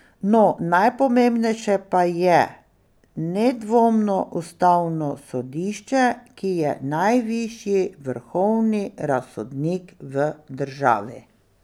No, najpomembnejše pa je nedvomno ustavno sodišče, ki je najvišji vrhovni razsodnik v državi.